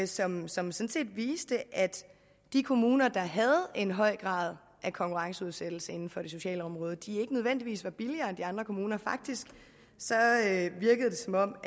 som sådan set viste at de kommuner der havde en høj grad af konkurrenceudsættelse inden for det sociale område ikke nødvendigvis var billigere end de andre kommuner faktisk virkede det som om